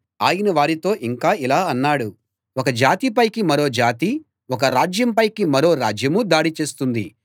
ఆయన వారితో ఇంకా ఇలా అన్నాడు ఒక జాతి పైకి మరో జాతీ ఒక రాజ్యం పైకి మరో రాజ్యమూ దాడి చేస్తుంది